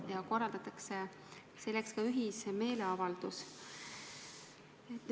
Selleks korraldatakse ka ühismeeleavaldus.